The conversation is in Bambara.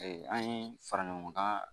an ye fara ɲɔgɔn kan